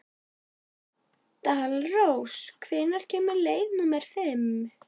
Dalrós, hvenær kemur leið númer fimm?